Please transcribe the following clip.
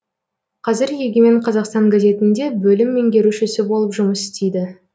қазір егемен қазақстан газетінде бөлім меңгерушісі болып жұмыс істейді